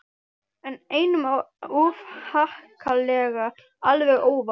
En einum of harkalega alveg óvart.